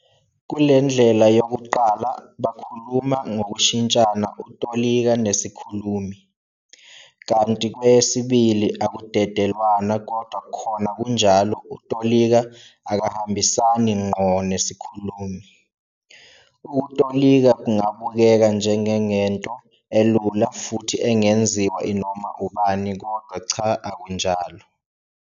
Kulendlela yokuqala bakhuluma ngokushintshana utolika nesikhulumi, kanti kweyesibili akudedelwana kodwa khona kunjalo utolika akahambisani ngqo nesikhulumi. Ukutolika kungabukeka njengengento elula futhi engenziwa inoma ubani kodwa cha akunjalo.